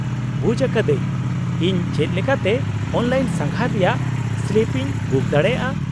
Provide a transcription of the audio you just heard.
-ᱵᱩᱡ ᱟᱠᱟᱫᱟᱹᱧ ! ᱤᱧ ᱪᱮᱫ ᱞᱮᱠᱟᱛᱮ ᱚᱱᱞᱟᱭᱤᱱ ᱥᱟᱸᱜᱷᱟᱨ ᱨᱮᱭᱟᱜ ᱥᱞᱤᱯ ᱤᱧ ᱵᱩᱠ ᱫᱟᱲᱮᱭᱟᱜᱼᱟ ?